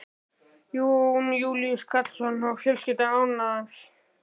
Jón Júlíus Karlsson: Og fjölskyldan ánægð?